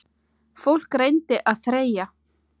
Fólk reyndi að þreyja.